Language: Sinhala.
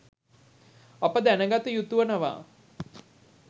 අප දැනගත යුතුවනවා.